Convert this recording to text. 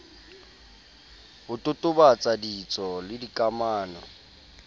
ho totobatsa ditso le dikamano